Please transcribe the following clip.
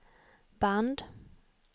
band